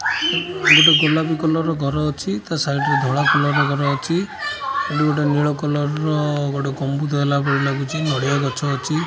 ଗୋଟେ ଗୋଲାପି କଲର ର ଘର ଅଛି। ତା ରେ ଧଳା କଲର ର ଘର ଅଛି। ଏଠି ଗୋଟେ ନିଲ କଲର ଗୋଟେ ଗମ୍ବୁଦ ହେଲା ପରି ଲାଗୁଚି। ନଡ଼ିଆ ଗଛ ଅଛି।